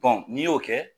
n'i y'o kɛ